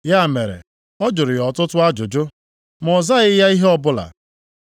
Ya mere ọ jụrụ ya ọtụtụ ajụjụ, ma ọ zaghị ya ihe ọbụla.